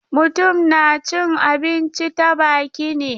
Mutum na cin abinci ta baki ne.